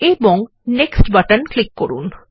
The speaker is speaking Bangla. এবংNextবাটন ক্লিক করুন